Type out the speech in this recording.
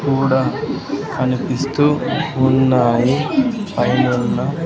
కూడా కనిపిస్తూ ఉన్నాయి పైనున్న--